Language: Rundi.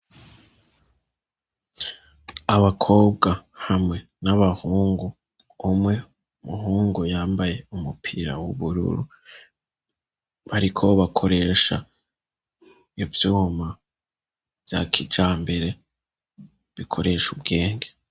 Abakobwa hamwe n'abahungu umwe umuhungu yambaye umupira w'ubururu, bariko bakoresha ivyuma vya kijambere bikoresha ubwenge.